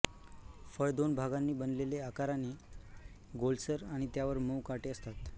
फळ दोन भागांनी बनलेले आकाराने गोलसर आणि त्यावर मऊ काटे असतात